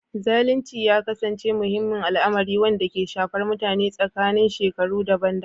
Zalunci ya ƙasance wani muhimmin al'amari, wanda ke shafar mutane a tsakanin shekaru daban-daban